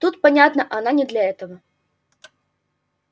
тут понятно она не для того